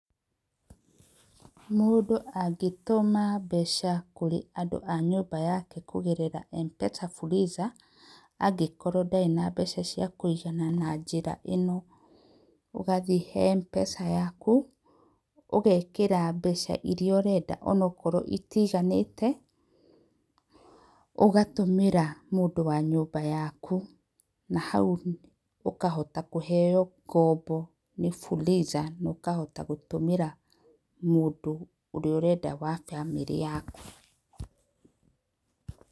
Mũndũ angĩtũma mbeca kũrĩ andũ wa nyũmba yake kũgerera M-PESA Fuliza, angĩkorwo ndarĩ na mbeca cia kũigana na njĩra ĩno, ũgathiĩ he M-PESA yaku, ũgekĩra mbeca iria ũrenda onokorwo itiganĩgte, ũgatũmĩra mũndũ wa nyũmba yaku, na hau ũkahota kũheyo ngombo, nĩ Fuliza na ũkahota gũtũmĩra mũndũ ũrĩa ũrenda wa bamĩrĩ yaku.